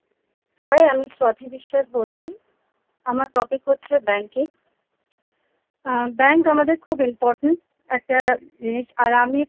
Hi আমি স্বতি বিশ্বাস বলছি আমার topic হচ্ছে banking আ bank আমাদের খুব important একটা জিনিস আর আমি খুব বিশ্বাস করি